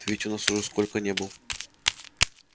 ты ведь у нас уже сколько не был